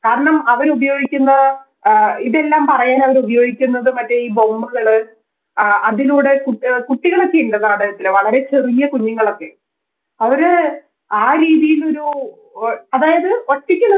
കാരണം അവരുപയോഗിക്കുന്ന അഹ് ഇതെല്ലം പറയാൻ അവരുപയോഗിക്കുന്നത് മറ്റേ ഈ ബോംബുകള്‍ ആ അതിലൂടെ കുട് കുട്ടികളൊക്കെ ഇണ്ട് നാടകത്തില് വളരെ ചെറിയ കുഞ്ഞുങ്ങളൊക്കെ അവര് ആരീതിയിലൊരു ഓ അതായത് ഒറ്റക്ക്